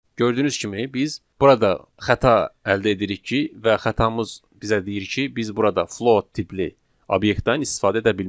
Gördüyünüz kimi biz burada xəta əldə edirik ki, və xətamız bizə deyir ki, biz burada float tipli obyektdən istifadə edə bilmərik.